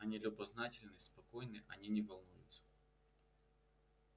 они любознательны спокойны они не волнуются